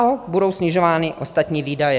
Dále budou snižovány ostatní výdaje.